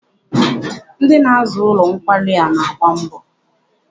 Ndị na-aza ụlọ nkwari a na-agba mbọ.